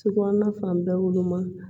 So kɔnɔna fan bɛɛ woloma